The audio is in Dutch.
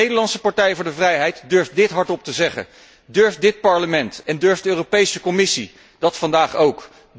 De Nederlandse partij voor de vrijheid durft dit hardop te zeggen. Durft dit Parlement en durft de Europese Commissie dat vandaag ook?